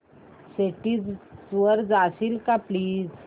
settings वर जाशील का प्लीज